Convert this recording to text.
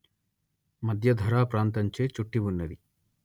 మధ్యధరా ప్రాంతంచే చుట్టి వున్నది